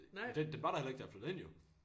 Det det var der heller ikke da jeg flyttede ind jo